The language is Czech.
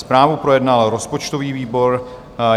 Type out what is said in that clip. Zprávu projednal rozpočtový výbor.